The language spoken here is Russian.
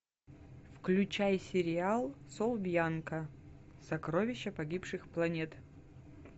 включай сериал сол бьянка сокровища погибших планет